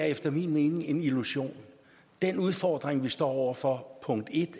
efter min mening en illusion den udfordring vi står over for